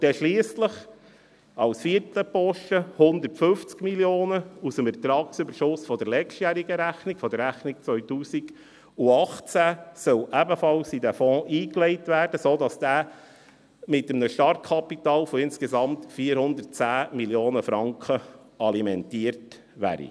Und dann sollen schliesslich sollen als vierter Posten 150 Mio. Franken aus dem Ertragsüberschuss der letztjährigen Rechnung, der Rechnung 2018, in den Fonds eingelegt werden, sodass dieser mit einem Startkapital von insgesamt 410 Mio. Franken alimentiert wäre.